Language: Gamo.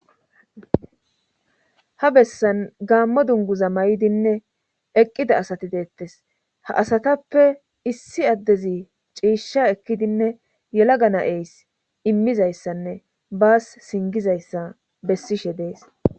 Ha bessan gaammo dunguza may7dinne eqqida asati deettes ha asatappe issi addezi ciishsha ekkidinne yelaga na'eys immizayssanne baas singizayssa bessishe dees.